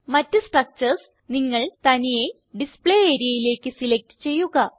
മറ്റ് സ്ട്രക്ചർസ് നിങ്ങൾ തനിയെ ഡിസ്പ്ലേ areaയിലേക്ക് സിലക്റ്റ് ചെയ്യുക